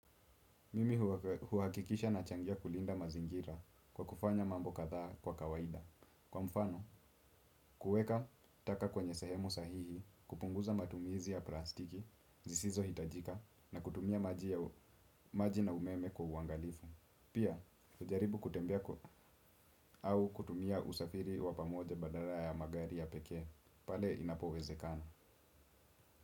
Mimi huhakikisha nachangia kulinda mazingira kwa kufanya mambo kadhaa kwa kawaida. Kwa mfano, kuweka, taka kwenye sahemu sahihi, kupunguza matumizi ya plastiki, zisizohitajika, na kutumia maji na umeme kwa uangalifu. Pia, hujaribu kutembea kwa au kutumia usafiri wa pamoja badala ya magari ya pekee, pale inapowezekana.